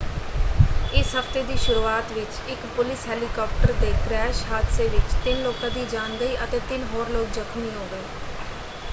ਇਸ ਹਫ਼ਤੇ ਦੀ ਸ਼ੁਰੂਆਤ ਵਿੱਚ ਇੱਕ ਪੁਲਿਸ ਹੈਲੀਕਾਪਟਰ ਦੇ ਕ੍ਰੈਸ਼ ਹਾਦਸੇ ਵਿੱਚ ਤਿੰਨ ਲੋਕਾਂ ਦੀ ਜਾਨ ਗਈ ਅਤੇ ਤਿੰਨ ਹੋਰ ਲੋਕ ਜਖਮੀ ਹੋ ਗਏ।